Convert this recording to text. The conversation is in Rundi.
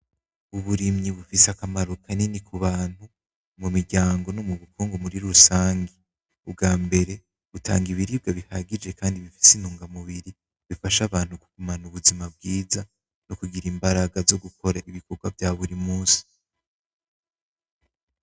Uburumyi rufise akamaro kanini kubantu, mu miryango no mubukongo muri rusange. Ubwambere butanga ibiribwa bihagije kandi bifise intugamubiri bifasha abantu kugumana ubuzima bwiza, no kugira imbaraga zo gukora ibikorwa vya buri munsi.